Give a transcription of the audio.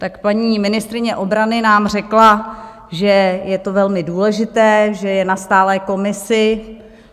Tak paní ministryně obrany nám řekla, že je to velmi důležité, že je na stálé komisi.